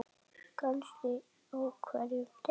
Kannski á hverjum degi.